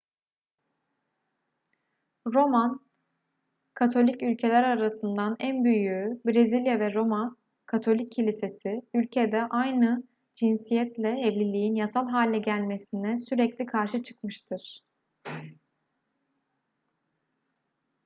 roman katolik ülkeler arasından en büyüğü brezilya ve roma katolik kilisesi ülkede aynı cinsiyetle evliliğin yasal hale gelmesine sürekli karşı çıkmıştır